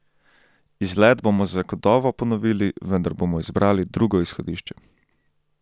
Izlet bomo zagotovo ponovili, vendar bomo izbrali drugo izhodišče.